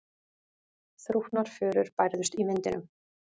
Þrútnar furur bærðust í vindinum.